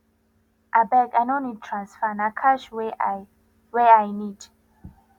abeg i no need transfer na cash wey i wey i need